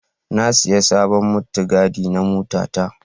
Na sai sabon mutigadi na motata.